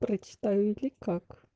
представили как